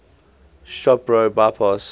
shop pro bypass